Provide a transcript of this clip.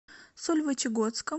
сольвычегодском